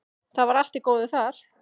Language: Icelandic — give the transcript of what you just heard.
Það var allt í góðu þar.